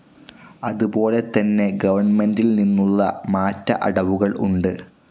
അതുപോലെതന്നെ ഗവൺമെന്റിൽനിന്നുള്ള മാറ്റ അടവുകൾ ഉണ്ട്.